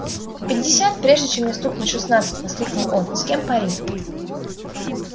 пятьдесят прежде чем мне стукнет шестнадцать воскликнул он с кем пари